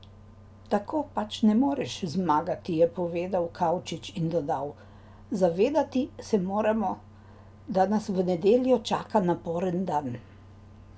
Tako pač ne moreš zmagati,' je povedal Kavčič in dodal: 'Zavedati se moramo, da nas v nedeljo čaka naporen dan.